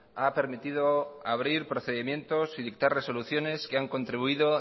ha permitido abrir procedimientos y dictar resoluciones que han contribuido